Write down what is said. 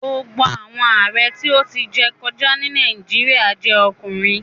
Gbogbo awọn Aare ti o ti jẹ kọja ni Nàìjíríà jẹ ọkunrin